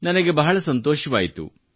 ನನಗೆ ಬಹಳ ಸಂತೊಷವಾಯಿತು